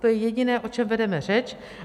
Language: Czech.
To je jediné, o čem vedeme řeč.